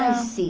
Ah, sim.